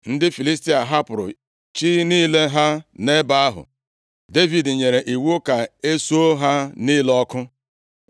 Ndị Filistia hapụrụ chi niile ha nʼebe ahụ, Devid nyere iwu ka e suo ha niile ọkụ.